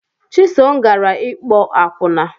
Chisom gara ịkpo akwụna